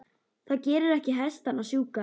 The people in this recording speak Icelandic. það gerir ekki hestana sjúka